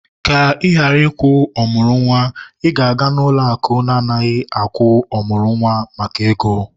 ka ị ghara ịkwụ ọmụrụ nwa, ị ga-aga ụlọ akụ na-adighị agwu ọmụrụ nwa maka ego